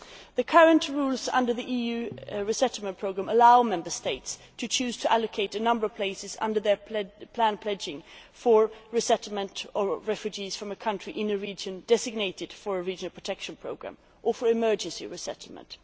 The current rules under the EU resettlement programme allow Member States to choose to allocate a number of places under their planned pledging for the resettlement of refugees from a country in a region designated for a regional protection programme or for emergency resettlement.